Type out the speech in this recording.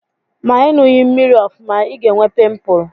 Ma Ị ṅughị mmiri ọfụma, ị ga-enwe pịmpụl.